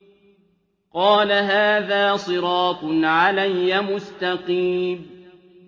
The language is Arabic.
قَالَ هَٰذَا صِرَاطٌ عَلَيَّ مُسْتَقِيمٌ